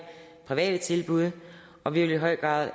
private tilbud og vi vil i høj grad